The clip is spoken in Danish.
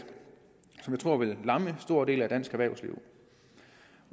tror vil lamme en stor del af dansk erhvervsliv